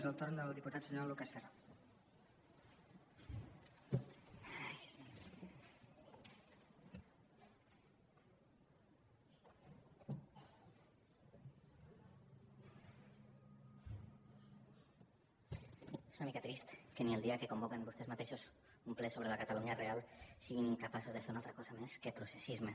és una mica trist que ni el dia que convoquen vostès mateixos un ple sobre la catalunya real siguin incapaços de fer una altra cosa més que processisme